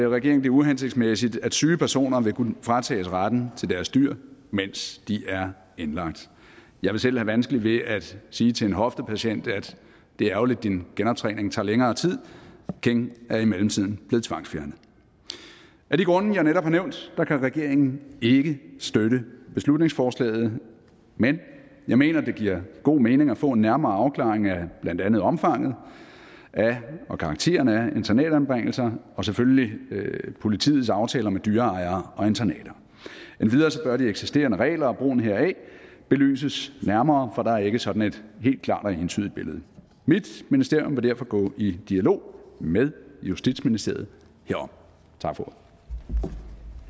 regeringen det uhensigtsmæssigt at syge personer vil kunne fratages retten til deres dyr mens de er indlagt jeg vil selv have vanskeligt ved at sige til en hoftepatient at det er ærgerligt at din genoptræning tager længere tid king er i mellemtiden blevet tvangsfjernet af de grunde jeg netop har nævnt kan regeringen ikke støtte beslutningsforslaget men jeg mener at det giver god mening at få en nærmere afklaring af blandt andet omfanget af og karakteren af internatanbringelser og selvfølgelig politiets aftaler med dyreejere og internater endvidere bør de eksisterende regler og brugen heraf belyses nærmere for der er ikke sådan et helt klart og entydigt billede mit ministerium vil derfor gå i dialog med justitsministeriet herom